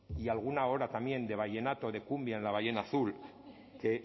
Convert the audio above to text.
y alguna hora también de vallenato de cumbia en la ballena azul que